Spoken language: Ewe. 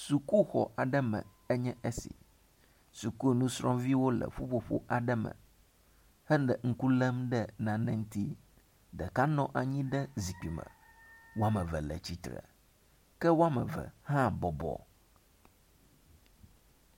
Sukuxɔ aɖe me enye esi, sukunɔsrɔ̃viwo le ƒuƒoƒo aɖe me hele ŋku lém ɖe nane ŋuti. Ɖeka nɔ anyi ɖe zikpui me. Wome eve le tsitre ke wome eve hã bɔbɔ.